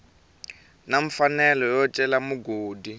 na mfanelo yo cela mugodi